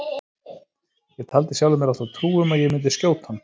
Ég taldi sjálfri mér alltaf trú um að ég myndi skjóta hann.